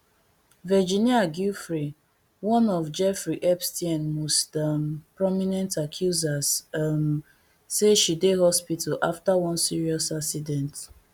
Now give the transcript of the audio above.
virginia giuffre one of jeffrey epstein most um prominent accusers um say she dey hospital after one serious accident